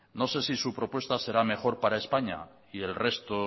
no sé si su propuesta será mejor para españa y el resto